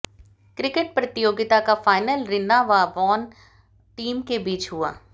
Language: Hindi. क्रिकेट प्रतियोगिता का फाइनल रिन्ना व वाण टीम के बीच हुआ